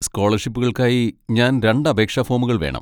സ്കോളർഷിപ്പുകൾക്കായി ഞാൻ രണ്ട് അപേക്ഷാ ഫോമുകൾ വേണം.